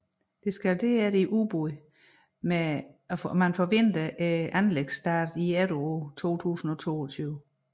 Det skal derefter i udbud med forventet anlægsstart i efteråret 2022